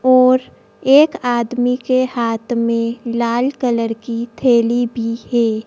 और एक आदमी के हाथ में लाल कलर की थैली भी है।